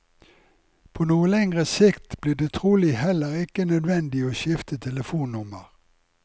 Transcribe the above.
På noe lengre sikt blir det trolig heller ikke nødvendig å skifte telefonnummer.